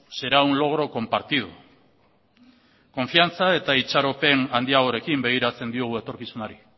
será un logro compartido konfiantza eta itxaropen handiagorekin begiratzen diogu etorkizunari